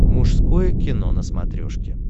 мужское кино на смотрешке